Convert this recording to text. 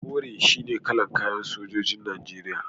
Kore shine kalar kayan sojojin Najeriya.